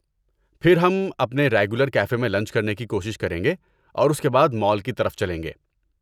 پھر ہم اپنے ریگولر کیفے میں لنچ کرنے کی کوشش کریں گے اور اس کے بعد مال کی طرف چلیں گے؟